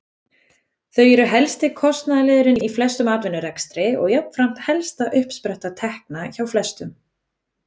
Þau eru helsti kostnaðarliðurinn í flestum atvinnurekstri og jafnframt helsta uppspretta tekna hjá flestum.